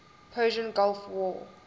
persian gulf war